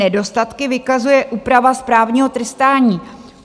Nedostatky vykazuje úprava správního trestání.